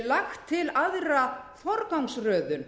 lagt til aðra forgangsröðun